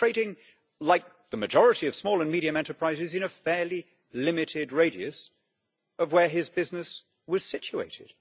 He was trading like the majority of small and medium enterprises in a fairly limited radius of where his business was situated.